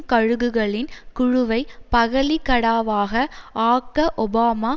கழுகுகளின் குழுவை பகலிகடாவாக ஆக்க ஒபாமா